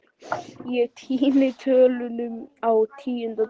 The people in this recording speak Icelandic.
Ég týni tölunni á tíunda degi